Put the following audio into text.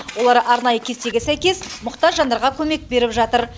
олар арнайы кестеге сәйкес мұқтаж жандарға көмек беріп жатыр